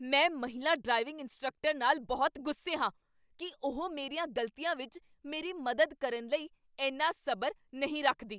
ਮੈਂ ਮਹਿਲਾ driving instructor ਨਾਲ ਬਹੁਤ ਗੁੱਸੇ ਹਾਂ ਕੀ ਉਹ ਮੇਰੀਆਂ ਗ਼ਲਤੀਆਂ ਵਿੱਚ ਮੇਰੀ ਮਦਦ ਕਰਨ ਲਈ ਇੰਨਾ ਸਬਰ ਨਹੀਂ ਰੱਖਦੀ।